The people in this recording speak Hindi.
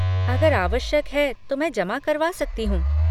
अगर आवश्यक है तो मैं जमा करवा सकती हूँ।